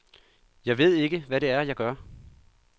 Jeg ved ikke, hvad det er, jeg gør.